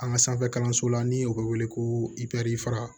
An ka sanfɛ kalanso la ni o bɛ wele ko ipɛrɛri fara